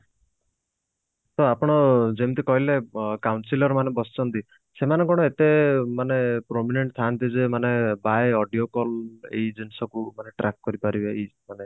ତ ଆପଣ ଯେମତି କହିଲେ councilor ମାନେ ବସିଛନ୍ତି ସେମାନେ କଣ ଏତେ ମାନେ prominent ଥାନ୍ତି ଯେ ସେମାନେ by audio call ଏଇ ଜିନିଷକୁ ମାନେ Trak କରି ପାରିବେ